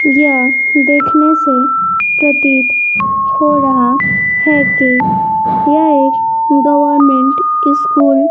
यह देखने से प्रतीत हो रहा है कि यह गवर्नमेंट स्कूल --